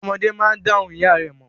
Ọmọ máa dá ohùn ìyá rẹ̀ mọ̀.